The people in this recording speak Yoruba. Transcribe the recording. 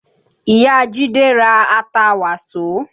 Ìyá Jide ra ata Waso